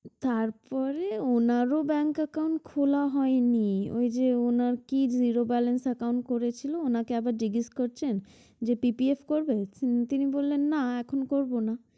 তারপরে ওনারও bank account খোলা হয়নি ওই যে ওনার কি zero balance account করেছিল ওনাকে আবার জিজ্ঞেস করছেন যে PPF করবেন? তিনি বললেন যে না এখন করব না।